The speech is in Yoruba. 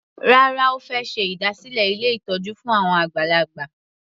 Rárá, Ó fẹ́ ṣe ìdásílẹ̀ ilé ìtọ́jú fún àwọn àgbàlagbà.